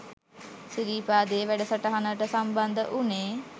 සිරිපාදේ වැඩ සටහනට සම්බන්ධ වුණේ.